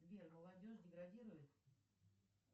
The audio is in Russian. сбер молодежь деградирует